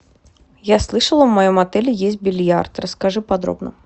я слышала в моем отеле есть бильярд расскажи подробно